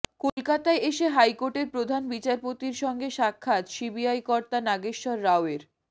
কলকাতায় এসে হাইকোর্টের প্রধান বিচারপতির সঙ্গে সাক্ষাৎ সিবিআই কর্তা নাগেশ্বর রাওয়ের